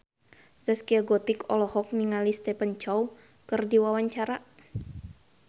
Zaskia Gotik olohok ningali Stephen Chow keur diwawancara